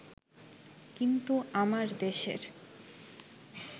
কিন্তু আমার দেশের